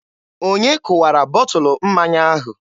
Onye kụwara bọtụlụ mmanya ahụ?